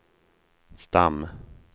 stam